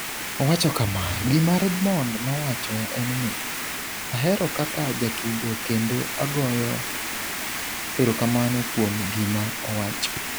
Owacho kama: “Gima Redmond nowacho en ni, ahero kaka jatugo kendo agoyo erokamano kuom gima owacho.”